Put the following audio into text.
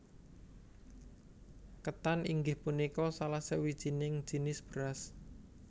Ketan inggih punika salah sawijining jinis beras